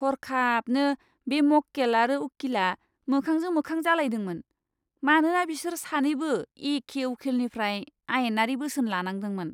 हरखाबनो, बे मक्केल आरो उखिलआ मोखांजों मोखां जालायदोंमोन, मानोना बिसोर सानैबो एखे उखिलनिफ्राय आयेनारि बोसोन लानांदोंमोन!